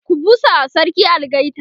ku busawa sarki algaita!